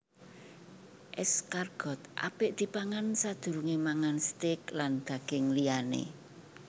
Escargot apik dipangan sadurungé mangan steak lan daging liyané